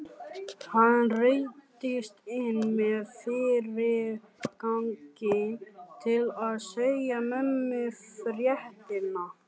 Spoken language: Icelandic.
Hann ruddist inn með fyrirgangi til að segja mömmu fréttirnar.